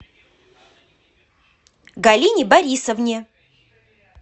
галине борисовне